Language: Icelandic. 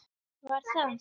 Var það